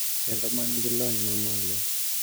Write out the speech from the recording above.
Kendo man gi lony mamalo,